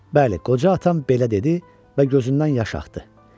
Bəli, qoca atam belə dedi və gözündən yaş axdı.